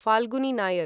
Falguni Nair